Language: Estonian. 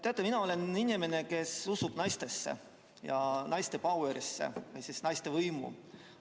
Teate, mina olen inimene, kes usub naistesse ja naiste pauerisse, sellisesse naiste võimu.